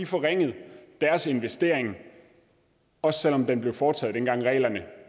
forringet deres investering også selv om den blev foretaget dengang reglerne